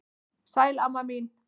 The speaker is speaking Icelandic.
Sæl amma mín.